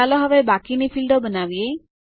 ચાલો હવે બાકીની ફીલ્ડો બનાવીએ